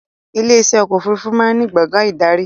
Ilé iṣẹ́ ọkọ̀ òfurufú máa ń ní gbàngán ìdarí